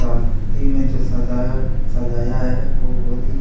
साथ ही में जो सजावट सजाया है वो बहुत ही--